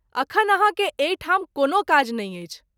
अखन आहाँ के एहि ठाम कोनो काज नहिं अछि।